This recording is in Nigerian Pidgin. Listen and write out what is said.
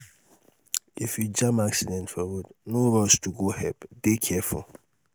if you jam accident for road no rush to go help dey careful